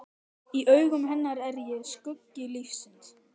Í augum hennar er ég skuggi lífsins.